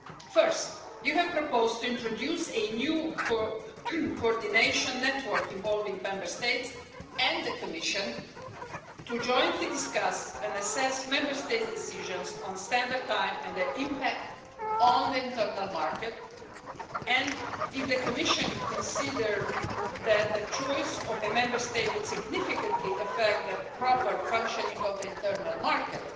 First, you have proposed to introduce a new coordination network involving Member States and the Commission to discuss jointly and assess Member States' decisions on standard time and their impact on the internal market, and if the Commission considers that the choice of a Member State would significantly affect the proper functioning of the internal market,